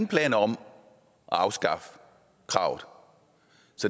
planer om at afskaffe kravet